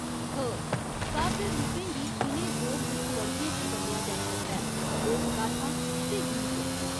ख, काव्य रूपें गी इ'नें दो मुक्ख वर्गें च बंडेआ जाई सकदा ऐ लोकगाथां ते गीत।